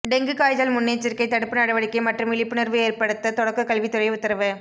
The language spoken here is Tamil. டெங்கு காய்ச்சல் முன்னெச்சரிக்கை தடுப்பு நடவடிக்கை மற்றும் விழிப்புணர்வு ஏற்படுத்த தொடக்கக்கல்வித்துறை உத்தரவு